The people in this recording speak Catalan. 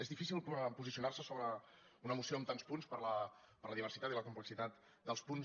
és difícil posicionar se sobre una moció amb tants punts per la diversitat i la complexitat dels punts